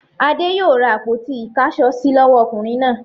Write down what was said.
Adé yòó ra àpótí ìkáṣọsí lọ́wọ́ ọkùnrin náà.